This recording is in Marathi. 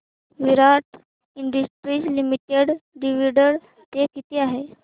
विराट इंडस्ट्रीज लिमिटेड डिविडंड पे किती आहे